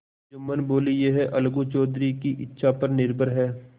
जुम्मन बोलेयह अलगू चौधरी की इच्छा पर निर्भर है